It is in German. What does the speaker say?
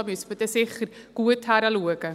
Da müsste man dann sicher gut hinschauen.